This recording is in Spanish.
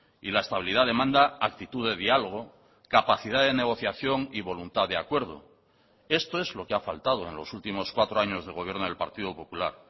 y la estabilidad demanda actitud de diálogo capacidad de negociación y voluntad de acuerdo esto es lo que ha faltado en los últimos cuatro años de gobierno del partido popular